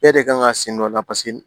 Bɛɛ de kan ka sen dɔ la